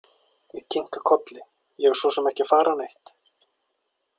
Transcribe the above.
Ég kinka kolli, ég er svo sem ekki að fara neitt.